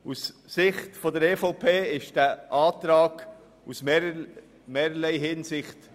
Aus Sicht der EVP ist dieser Antrag aus verschiedenen Gründen falsch.